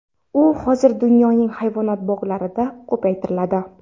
U hozir dunyoning hayvonot bog‘larida ko‘paytiriladi.